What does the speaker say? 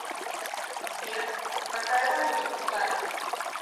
сбер какая валюта в бутане